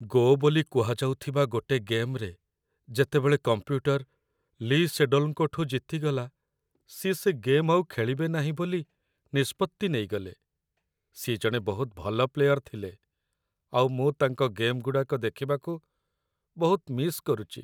"ଗୋ" ବୋଲି କୁହାଯାଉଥିବା ଗୋଟେ ଗେମ୍‌ରେ, ଯେତେବେଳେ କମ୍ପ୍ୟୁଟର ଲି ସେଡୋଲ୍‌ଙ୍କଠୁ ଜିତିଗଲା, ସିଏ ସେ ଗେମ୍ ଆଉ ଖେଳିବେ ନାହିଁ ବୋଲି ନିଷ୍ପତ୍ତି ନେଇଗଲେ । ସିଏ ଜଣେ ବହୁତ ଭଲ ପ୍ଲେୟର ଥିଲେ ଆଉ ମୁଁ ତାଙ୍କ ଗେମ୍‌ଗୁଡ଼ାକ ଦେଖିବାକୁ ବହୁତ ମିସ୍ କରୁଚି ।